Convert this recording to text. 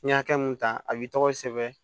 N'i ye hakɛ mun ta a b'i tɔgɔ sɛbɛn